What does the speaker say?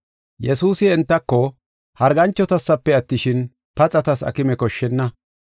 Yesuusi entako, “Harganchotasafe attishin, paxatas aakime koshshenna.